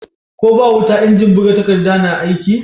Ko ba wuta injin buga takadda na aiki?